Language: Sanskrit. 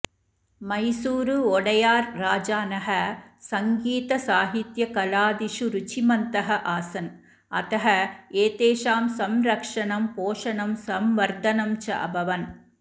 मैसूरु ओडेयर् राजानः सङ्गीतसाहित्यकलादिषु रुचिमन्तः आसन् अतः एतेषां संरक्षणं पोषणं संवर्धनं च अभवन्